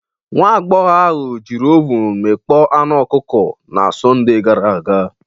Nwa agbọghọ ahụ jiri ovun mikpo anu ọkụkọ na Sọnde gara aga.